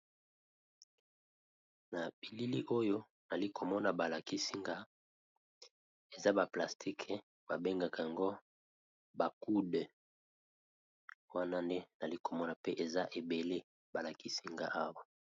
Na bilili oyo nali komona ba lakisi nga eza ba plastique ba bengaka yango ba coude, wana nde nali komona mpe eza ebele ba lakisi nga awa.